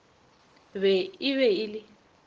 be e be e le